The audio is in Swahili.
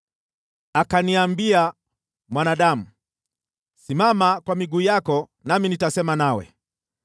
Akaniambia, “Mwanadamu, simama kwa miguu yako nami nitasema nawe.”